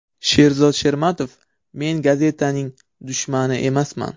Sherzod Shermatov: Men gazetaning dushmani emasman.